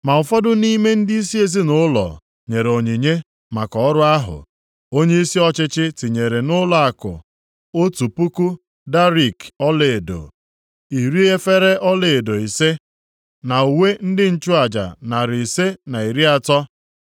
Ma ụfọdụ nʼime ndịisi ezinaụlọ nyere onyinye maka ọrụ ahụ. Onyeisi ọchịchị tinyere nʼụlọakụ otu puku darik ọlaedo (1,000), + 7:70 Ya bụ kilogram asatọ na ụma anọ iri efere ọlaedo ise (50) na uwe ndị nchụaja narị ise na iri atọ (530).